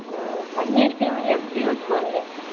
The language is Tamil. ஊம் பண்ணிருக்கேன்ல எப்படியும் வந்துரு வானுங்க